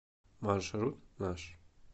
маршрут наш